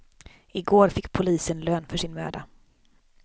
I går fick polisen lön för sin möda.